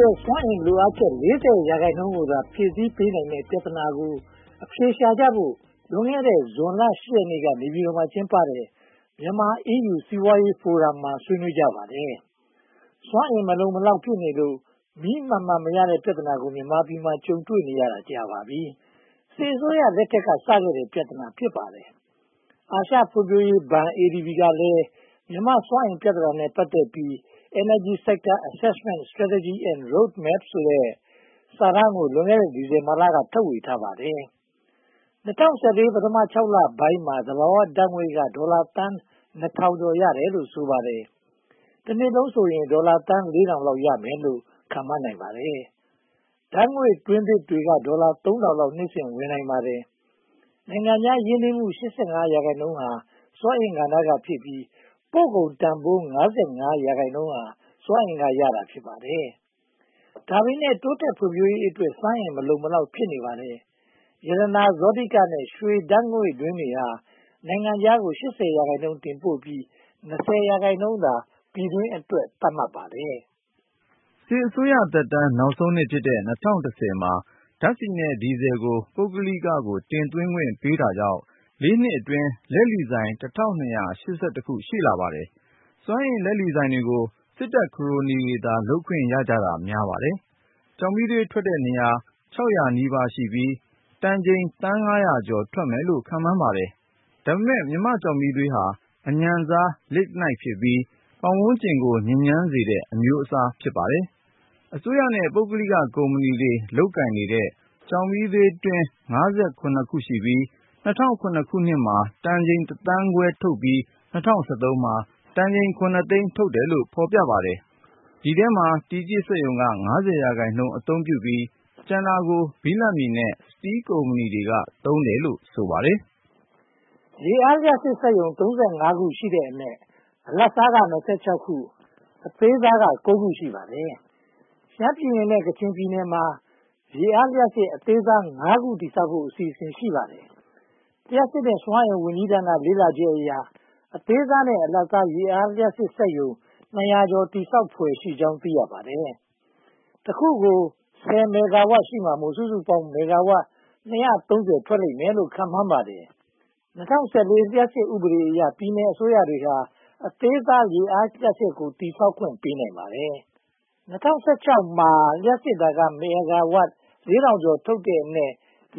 ရဲ့ စွမ်းအင်လိုအပ်ချက် (၄၀) ရာခိုင်နှုန်းကိုသာ ဖြည့်ဆည်းပေးနိုင်တဲ့ ပြဿနာကို အဖြေရှာကြဖို့ လွန်ခဲ့တဲ့ ဇွန်လ (၈) ရက်နေ့က နေပြည်တော်မှာ ကျင်းပတဲ့ မြန်မာ-အီးယူ စီးပွားရေးဖိုရမ်မှာ ဆွေးနွေးကြပါတယ်။ စွမ်းအင်မလုံမလောက် ဖြစ်နေလို့ မီးမှန်မှန်မရတဲ့ ပြဿနာကို မြန်မာပြည်မှာ ကြုံတွေ့နေရတာ ကြာပါပြီ။ စစ်အစိုးရလက်ထက်က စခဲ့တဲ့ ပြဿနာ ဖြစ်ပါတယ်။ အာရှဖွံ့ဖြိုးရေးဘဏ် ADB ကလည်း မြန်မာ့စွမ်းအင်ပြဿနာနဲ့ ပတ်သက်ပြီး Energy Sector Assessment, Strategy and Road Map ဆိုတဲ့ စာတမ်းကို လွန်ခဲ့တဲ့ ဒီဇင်ဘာလက ထုတ်ဝေခဲ့ပါတယ်။ ၂၀၁၄ ပထမ (၆) လပိုင်းမှာ သဘာဝဓါတ်ငွေ့က ဒေါ်လာသန်း (၂၀၀၀) ရတယ်လို့ ဆိုပါတယ်။ တနှစ်လုံးဆိုရင် ဒေါ်လာသန်း (၄၀၀၀) လောက် ရမယ်လို့ ခန့်မှန်းနိုင်ပါတယ်။ ဓါတ်ငွေ့တွင်းသစ်တွေက ဒေါ်လာ (၃၀၀၀) လောက် နှစ်စဉ်ဝင်နိုင်ပါတယ်။ နိုင်ငံခြား ရင်းနှီးမှု (၈၅) ရာခိုင်နှုန်းဟာ စွမ်းအင်ကဏ္ဍမှာဖြစ်ပြီး၊ ပို့ကုန်တန်းဖိုး (၅၅) ရာခိုင်နှုန်းဟာ စွမ်းအင်ကရတာ ဖြစ်ပါတယ်။ ဒါပေမဲ့ တိုးတက်ဖွံ့ဖြိုးရေးအတွက် စွမ်းအင်မလုံမလောက် ဖြစ်နေပါတယ်။ ရတနာ၊ ဇောတိက နဲ့ ရွှေဓါတ်ငွေ့တွင်းတွေဟာ နိုင်ငံခြားကို (၈၀) ရာခိုင်နှုန်း တင်ပို့ပြီး (၂၀) ရာခိုင်နှုန်းသာ ပြည်တွင်းအတွက် သတ်မှတ်ပါတယ်။ စစ်အစိုးရသက်တမ်း နောက်ဆုံးနှစ်ဖြစ်တဲ့ (၂၀၁၀) မှာ ဓါတ်ဆီနဲ့ ဒီဇယ်ဆီကို ပုဂ္ဂလိကို တင်သွင်းခွင့်ပေးတာကြောင့် လေးနှစ်အတွင်း လက်လီဆိုင် (၁၂၈၁) ရှိလာပါတယ်။ စွမ်းအင်လက်လီဆိုင်တွေကို စစ်တပ်ခရိုနီတွေသာ လုပ်ခွင့်ရကြတာ များပါတယ်။ ကျောက်မီးသွေးထွက်တဲ့နေရာ (၆၀၀) နီးပါးရှိပြီး၊ တန်ချိန်သန်း (၅၀၀) ကျော် ထွက်မယ်လို့ ခန့်မှန်းပါတယ်။ ဒါပေမဲ့ ကျောက်မီးသွေးဟာ အညံ့စား Lignite ဖြစ်ပြီး ပတ်ဝန်းကျင်ကို ညစ်ညမ်းစေတဲ့ အမျိုးအစား ဖြစ်ပါတယ်။ အစိုးရနဲ့ ပုဂ္ဂလိကကုမ္ပဏီတွေ လုပ်ကိုင်နေတဲ့ ကျောက်မီးသွေးတွင်း (၅၇) ခုရှိပြီး၊ ၂၀၀၇ မှာ တန်ချိန်တသန်းခွဲထုတ်ပြီး၊ ၂၀၁၃ မှာ တန်ချိန်ခုနှစ်သိန်း ထုတ်တယ်လို့ ဖော်ပြပါတယ်။ ဒီအထဲမှာ တီကျစ်စက်ရုံက (၅၀) ရာခိုင်နှုန်းအသုံးပြုပြီး ကျန်တာကို ဘိလပ်မြေနဲ့ စတီးကုမ္ပဏီတွေက သုံးတယ်လို့ ဆိုပါတယ်။ ရေအားလျှပ်စစ်စက်ရုံ (၃၅) ခုရှိတဲ့အနက် အလတ်စားက (၂၆) ခု၊ အသေးစားက (၉) ခု ရှိပါတယ်။ ရှမ်းပြည်နယ်နဲ့ ကချင်ပြည်နယ်တွေမှာ ရေအားလျှပ်စစ် အသေးစား (၅) ခု တည်ဆောက်ဖို့ အစီအစဉ် ရှိပါတယ်။ လျှပ်စစ်နဲ့ ဝန်ကြီးဌာန လေ့လာချက်အရ အသေးစားနဲ့ အလတ်စား ရေအားလျှပ်စစ် စက်ရုံ (၂၀၀) ကျော် တည်ဆောက်နိုင်ဖွယ်ရှိကြောင်း သိရပါတယ်။ တခုကို (၁၀) မဲဂါဝပ် ရှိမှာမို့ စုစုပေါင်း မဲဂါဝပ် (၂၃၀) ထွက်လိမ့်မယ်လို့ ခန့်မှန်းပါတယ်။ ၂၀၁၄ လျှပ်စစ်ဥပဒေအရ ပြည်နယ်အစိုးရတွေဟာ အသေးစား ရေအားလျှပ်စစ်ကို တည်ဆောက်ခွင့် ပေးနိုင်ပါတယ်။ ၂၀၁၆ မှာ လျှပ်စစ်ဓါတ်အား မဲဂါဝပ် (၄၇၆၄) ထုတ်လုပ်တဲ့အနက်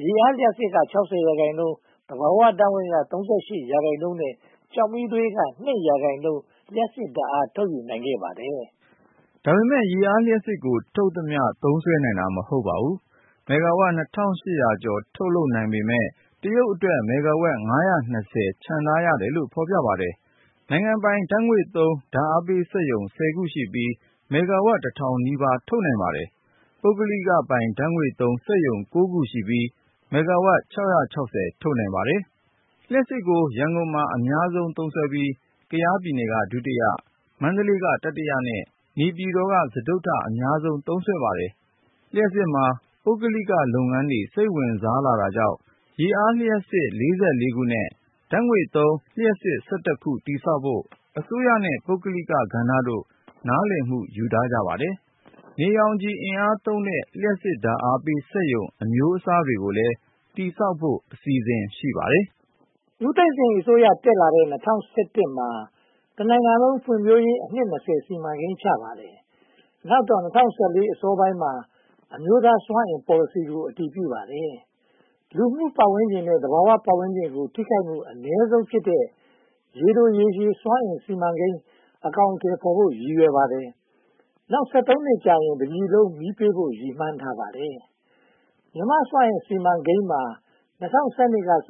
ရေအားလျှပ်စစ်က (၆၀) ရာခိုင်နှုန်း၊ သဘာဝဓါတ်ငွေ့က (၃၈) ရာခိုင်နှုန်းနဲ့ ကျောက်မီးသွေးက (၂) ရာခိုင်နှုန်း လျှပ်စစ်ဓါတ်အား ထုတ်ယူနိုင်ခဲ့ပါတယ်။ ဒါပေမဲ့ ရေအားလျှပ်စစ်ကို ထုတ်သမျှ သုံးစွဲနိုင်တာ မဟုတ်ပါဘူး။ မဲဂါဝပ် (၂၈၀၀) ကျော် ထုတ်လုပ်နိုင်ပေမယ့် တရုတ်အတွက် မဲဂါဝပ် (၅၂၀) ချန်ထားရတယ်လို့ ဖော်ပြပါတယ်။ နိုင်ငံပိုင် ဓါတ်ငွေ့သုံး ဓါတ်အားပေးစက် (၁၀) ခုရှိပြီး၊ မဲဂါဝပ်တစ်ထောင်နီးပါး ထုတ်နိုင်ပါတယ်။ ပုဂ္ဂလိဓါတ်ငွေ့သုံး စက်ရုံ (၉) ခုရှိပြီး မဲဂါဝပ် (၆၆၀) ထုတ်နိုင်ပါတယ်။ လျှပ်စစ်ဓါတ်ကို ရန်ကုန်မှာ အများဆုံး သုံးစွဲပြီး၊ ကယားပြည်နယ်က ဒုတိယ၊ မန္တလေးက တတိယ၊ နေပြည်တော်က စတုတ္ထ အများဆုံး သုံးပါတယ်။ လျှပ်စစ်မှာ ပုဂ္ဂလိကလုပ်ငန်းတွေ စိတ်ဝင်စားလာတာကြောင့် ရေအားလျှပ်စစ် (၄၄) ခုနဲ့ ဓါတ်ငွေ့သုံးလျှပ်စစ် (၁၁) ခု တည်ဆောက်ဖို့ အစိုးရနဲ့ ပုဂ္ဂလိကဏ္ဍတို့ နားလည်မှု ယူထားပါတယ်။ နေရောင်ခြည်အင်အားသုံးတဲ့ လျှပ်စစ်ဓါတ်အားပေးစက်ရုံ အမျိုးအစားတွေကိုလည်း တည်ဆောက်ဖို့ အစီအစဉ် ရှိပါတယ်။ ဦးသိန်းစိန်အစိုးရတက်လာတဲ့ (၂၀၁၁) မှာ တနိုင်ငံလုံး ဖွံ့ဖြိုးရေး အနှစ် (၂၀) စီမံကိန်း ချထားပါတယ်။ နောက်တော့ (၂၀၁၄) အစောပိုင်းမှာ အမျိုးသားစွမ်းအင်ပေါ်လစီကို အတည်ပြုပါတယ်။ လူမှုပတ်ဝန်းကျင်နဲ့ သဘာဝပတ်ဝန်းကျင်ကို ထိခိုက်မှုအနည်းဆုံးဖြစ်တဲ့ ရေတိုရေရှည် စွမ်းအင်စီမံကိန်း အကောင်အထည်ဖော်ဖို့ ရည်ရွယ်ပါတယ်။ နောက် (၁၃) နှစ်ကြာရင် တပြည်လုံး မီးပေးဖို့ ရည်မှန်းထားပါတယ်။ မြန်မာ့စွမ်းအင်စီမံကိန်းမှာ (၂၀၁၂)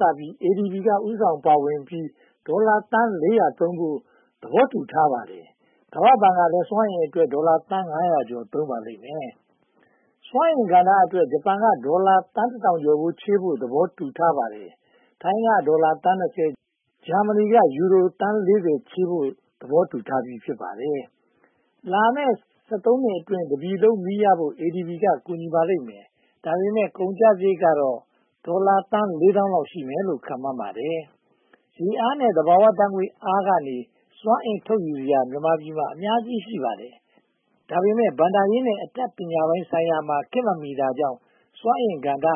ကစပြီး၊ ADB ဦးဆောင်ပါဝင်ပြီး၊ ဒေါ်လာသန်း (၄၀၀) သုံးဖို့ သဘောတူထားပါတယ်။ ကမ္ဘာဘဏ်ကလည်း စွမ်းအင်အတွက် ဒေါ်လာသန်း (၅၀၀) ကျော် သုံးပါလိမ့်မယ်။ စွမ်းအင်ကဏ္ဍအတွက် ဂျပန်က ဒေါ်လာသန်းတထောင်ကျော်ချေးဖို့ သဘောတူထားပါတယ်။ ထိုင်းကဒေါ်လာသန်း (၂၀)၊ ဂျာမဏီက ယူရိုသန်း (၄၀) သုံးဖို့ သဘောတူထားပြီး ဖြစ်ပါတယ်။ လာမယ့် (၁၃) နှစ်အတွင်း တပြည်လုံး မီးရဖို့ ADB ကူညီပါလိမ့်မယ်။ ဒါပေမဲ့ ကုန်ကျစရိတ်ကတော့ ဒေါ်လာသန်း လေးသောင်းလောက် ရှိမယ်လို့ ခန့်မှန်းပါတယ်။ ရေအားနဲ့ သဘာဝဓါတ်ငွေ့အားကနေ စွမ်းအင်ထုတ်ယူစရာတွေ မြန်မာပြည်မှာ အများကြီး ရှိပါတယ်။ ဒါပေမဲ့ ဘဏ္ဍာရေးနဲ့ အတတ်ပညာပိုင်းဆိုင်ရာမှာ ခေတ်မမီတာကြောင့် စွမ်းအင်ကဏ္ဍဟာ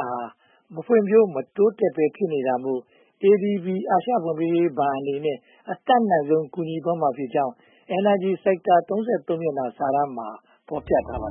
မဖွံ့ဖြိုး မတိုးတက်ဘဲ ဖြစ်နေတာမို့ ADB အာရှဖွံ့ဖြိုးရေးဘဏ်အနေနဲ့ အတတ်နိုင်ဆုံး ကူညီသွားမှာဖြစ်ကြောင်း Energy Sector (၃၃) မျက်နှာ စာတမ်းမှာ ဖော်ပြထားပါတယ